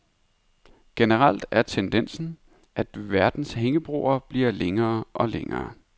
Generelt er tendensen, at verdens hængebroer bliver længere og længere.